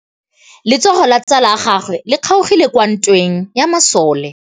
Letsôgô la tsala ya gagwe le kgaogile kwa ntweng ya masole.